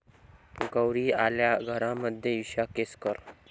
गौरी आल्या घरा'मध्ये इशा केसकर